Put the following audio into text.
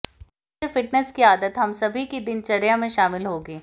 इससे फिटनेस की आदत हम सभी की दिनचर्या में शामिल होगी